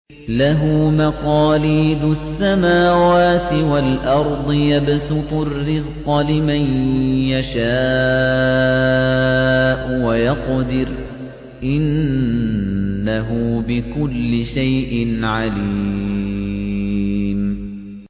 لَهُ مَقَالِيدُ السَّمَاوَاتِ وَالْأَرْضِ ۖ يَبْسُطُ الرِّزْقَ لِمَن يَشَاءُ وَيَقْدِرُ ۚ إِنَّهُ بِكُلِّ شَيْءٍ عَلِيمٌ